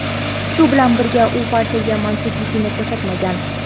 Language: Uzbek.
shu bilan birga u partiyaga mansubligini ko‘rsatmagan.